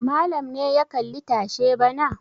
Malam ne ya kalli tashe bana.